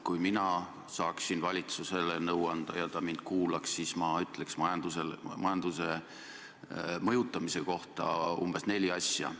Kui mina saaksin valitsusele nõu anda ja ta mind kuulaks, siis ma ütleks majanduse mõjutamise kohta umbes neli asja.